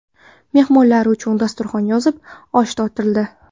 Mehmonlar uchun dasturxon yozilib, osh tortildi.